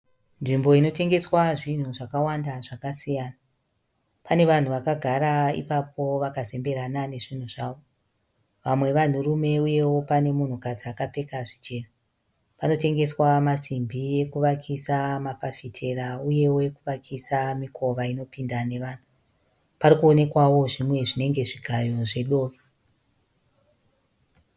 Nzvimbo inotengeswa zvinhu zvakawanda zvakasiyana. Pane vanhu vakagara ipapo vakazemberana nezvinhu zvavo. Vamwe vanhurume uyewo pane munhukadzi akapfeka zvichena. Panotengeswa masimbi ekuvakisa mafafitera uyewo ekuvakisa mikova inopinda nevanhu. Pari kuonekawo zvimwe zvinenge zvigayo zvedovi.